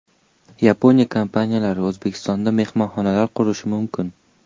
Yaponiya kompaniyalari O‘zbekistonda mehmonxonalar qurishi mumkin.